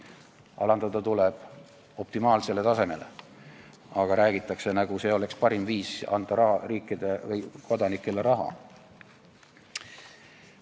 Alandada tuleb optimaalsele tasemele, aga räägitakse, nagu see oleks parim viis anda kodanikele raha.